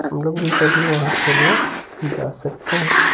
हम लोग भी कभी वहां खेलने जा सकते हैं।